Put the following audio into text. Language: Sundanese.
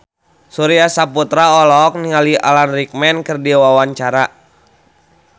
Surya Saputra olohok ningali Alan Rickman keur diwawancara